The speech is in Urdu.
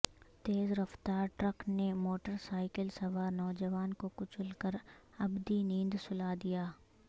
تیز رفتار ٹرک نے موٹر سائیکل سوار نوجوان کو کچل کر ابدی نیند سلا دیا